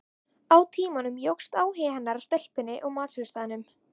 Með tímanum jókst áhugi hennar á stelpunni á matsölustaðnum.